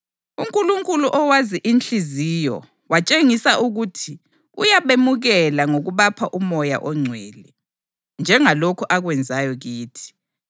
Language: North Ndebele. UNkulunkulu owazi inhliziyo watshengisa ukuthi uyabemukela ngokubapha uMoya oNgcwele, njengalokhu akwenzayo kithi.